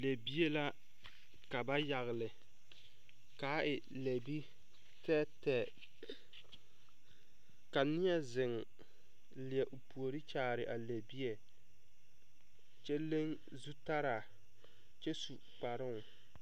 Lɛbie la ka ba yagle kaa e lɛ biitɛɛtɛɛ ka neɛ ziŋ leɛ o puori kyaare a lɛbie kyɛ leŋ zutalaa kyɛ su kparoŋ.